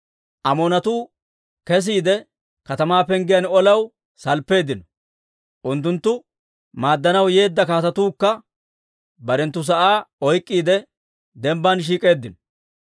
Amoonatuu kesiide, katamaa penggiyaan olaw salppeeddino. Unttuntta maaddanaw yeedda kaatetuukka barenttu sa'aa oyk'k'iide, dembbaan shiik'eeddino.